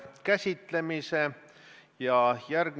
Proua väliskaubandusminister, keskenduge!